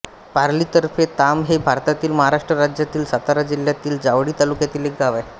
पाली तर्फे तांब हे भारतातील महाराष्ट्र राज्यातील सातारा जिल्ह्यातील जावळी तालुक्यातील एक गाव आहे